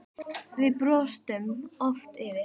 Sem við brostum oft yfir.